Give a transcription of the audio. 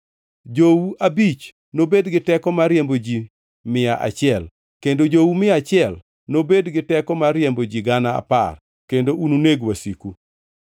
Jou abich nobed gi teko mar riembo ji mia achiel, kendo jou mia achiel nobed gi teko mar riembo ji gana apar, kendo ununeg wasiku.